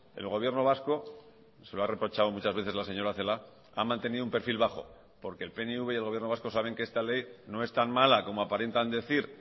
el gobierno vasco se lo ha reprochado muchas veces la señora celaá ha mantenido un perfil bajo porque el pnv y el gobierno vasco saben que esta ley no es tan mala como aparentan decir